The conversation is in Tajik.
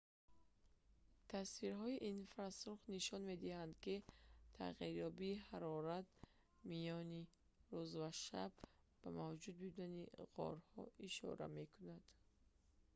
тасвирҳои инфрасурх нишон медиҳанд ки тағйирёбии ҳарорат миёни рӯз ва шаб ба мавҷуд будани ғорҳо ишора мекунанд